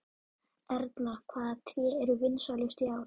Erla, hvaða tré eru vinsælust í ár?